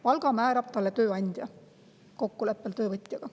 Palga määrab talle tööandja nende omavahelise kokkuleppe tulemusena.